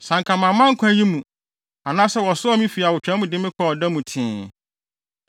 Sɛ anka mamma nkwa yi mu, anaasɛ wɔsoaa me fi awotwaa mu de me kɔɔ ɔda mu tee!